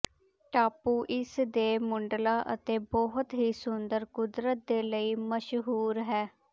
ਟਾਪੂ ਇਸ ਦੇ ਮੁੱਢਲਾ ਅਤੇ ਬਹੁਤ ਹੀ ਸੁੰਦਰ ਕੁਦਰਤ ਦੇ ਲਈ ਮਸ਼ਹੂਰ ਹੈ